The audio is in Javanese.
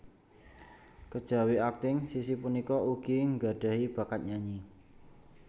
Kejawi akting Sissy punika ugi nggadhahi bakat nyanyi